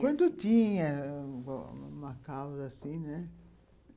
Quando tinha uma causa assim, né?